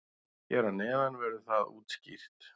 Hér að neðan verður það útskýrt.